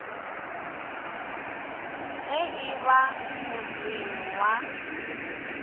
ge e ba motseng wa